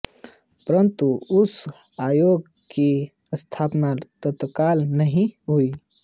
परंतु उस आयोग की स्थापना तत्काल नहीं हुई